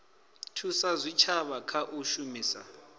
thusa zwitshavha kha u shumisa